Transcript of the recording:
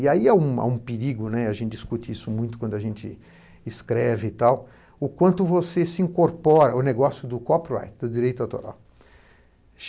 E aí há um há um perigo, né, a gente discute isso muito quando a gente escreve e tal, o quanto você se incorpora, o negócio do copyright, do direito autoral.